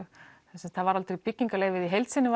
það var aldrei byggingarleyfi í heild sinni